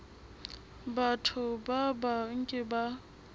batho ba bang ke ba